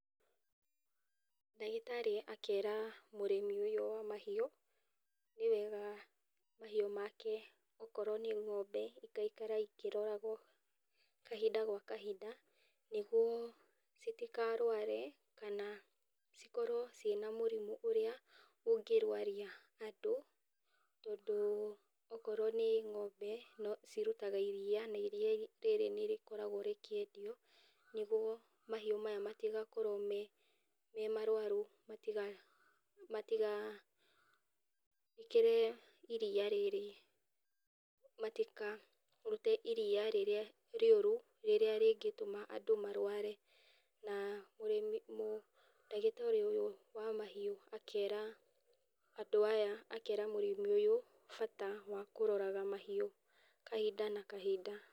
Ndagĩtarĩ akera mũrĩmi ũyũ wa mahiũ, nĩ wega mahiũ make, akorwo nĩ ng'ombe igaikara ikĩroragwo kahinda gwa kahinda nĩguo citikarware kana cikorwo ciĩna mũrimũ ũrĩa ũngĩ rwaria andũ, tondũ akorwo nĩ ng'ombe cirutaga iria, na iria rĩrĩ nĩ rĩkoragwo rĩkĩendio nĩguo mahiũ maya matigakorwo memarwaru matiga matigekĩre iria rĩrĩ, matikarute iria rĩrĩa rĩũru, rĩrĩa rĩngĩtũma andũ marware na ũrĩmi na ndagĩtarĩ wa mahiũ akera andũ aya mũrĩmi ũyũ bata wa kũroraga mahiũ kahinda na kahinda.